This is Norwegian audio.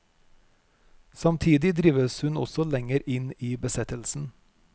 Samtidig drives hun også lenger inn i besettelsen.